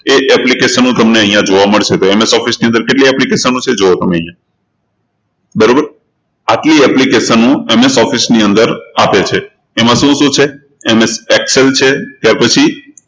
એ application તમને અહિયાં જોવા મળશે તો MS Office ની અંદર કેટલી application છે જુઓ તમે અહિયાં, બરોબર, આટલી applicationMSoffice ની અંદર આવે છે, એમાં શું શું છે? MSExcel છે ત્યારપછી